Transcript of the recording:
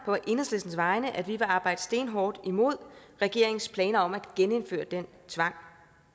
på enhedslistens vegne at vi vil arbejde stenhårdt imod regeringens planer om at genindføre den tvang